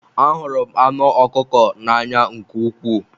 Ahụrụ m anụ ọkụkọ n'anya nke ukwuu